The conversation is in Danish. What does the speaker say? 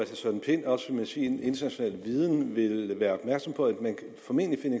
søren pind også med sin internationale viden vil være opmærksom på at man formentlig kan